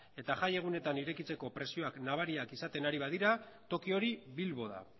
eta jai egunetan irekitzeko presioak nabariak izaten ari badira toki hori bilbo da